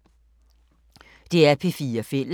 DR P4 Fælles